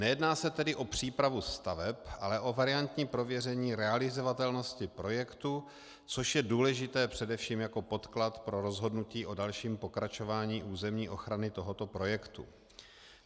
Nejedná se tedy o přípravu staveb, ale o variantní prověření realizovatelnosti projektu, což je důležité především jako podklad pro rozhodnutí o dalším pokračování územní ochrany tohoto projektu.